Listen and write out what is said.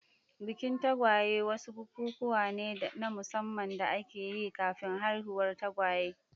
Bikin tagwaye wasu bikikuwa ne na musamman da ake yi kafin haihuwar tagwaye.